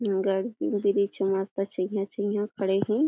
गर ब्रिज ह मस्त छईहा छईहा खड़े हे।